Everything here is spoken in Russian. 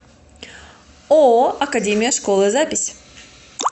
ооо академия школы запись